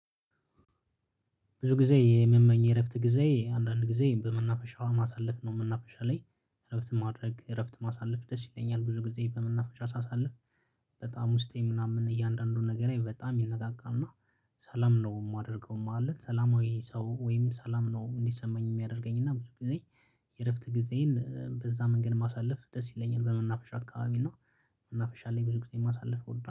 ብዙ ጊዜ የምመኝ የእረፍት ጊዜ አንዳንድ ጊዜ በመናፍሻ ማሳለፍ ነው መናፈሻ ላይ እረፍት ማድረግ እረፍት ማሳለፍ ደስ ይለኛል ብዙ ጊዜ በመናፈሻ ሳሳልፍ። በጣም ውስጤ ምናምን እያንዳንዱን ነገሬ በጣም ይነቃቃ እና ሰላም ነው ማደርገው ማለት ሰላማዊ ሰው ወይም ሰላም ነው እንዲሰማኝ ሚያደርገኝ እና ብዙ ጊዜ። የእረፍት ጊዜን በዛ መንገድ ማሳለፍ ደስ ይለኛል በመናፈሻ አካባቢ እና መናፈሻ ላይ ብዙ ጊዜ ማሳለፍ እወዳ